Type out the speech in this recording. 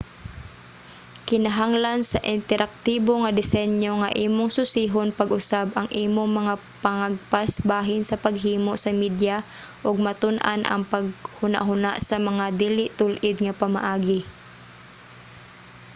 kinahanglan sa interaktibo nga disenyo nga imong susihon pag-usab ang imong mga pangagpas bahin sa paghimo sa media ug matun-an ang paghunahuna sa mga dili tul-id nga pamaagi